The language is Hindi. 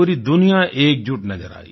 पूरी दुनिया एकजुट नज़र आयी